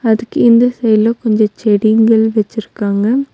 அதுக்கு இந்த சைடுல கொஞ்ஜொ செடிங்கள் வச்சிருக்காங்க.